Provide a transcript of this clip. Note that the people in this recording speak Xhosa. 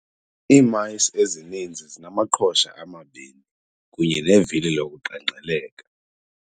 Ii-mice ezininzi zinamaqhosha amabini kunye nevili lokuqengqeleka.